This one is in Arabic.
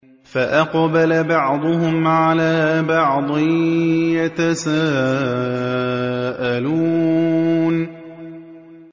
فَأَقْبَلَ بَعْضُهُمْ عَلَىٰ بَعْضٍ يَتَسَاءَلُونَ